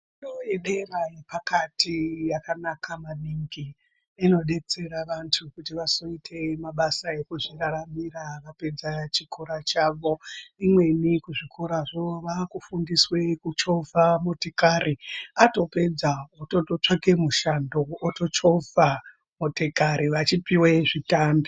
Fundo yedera yepakati yakanaka maningi inobetsera vantu kuti vazoite mabasa ekuzviraramira vapedza chikora chavo. Imweni kuzvikorazvo vakufundiswe kuchovha motikari atopedza votototsvake mushando otochovha motikari vachipiva zvitambi.